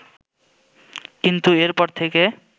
কিন্তু এরপর থেকে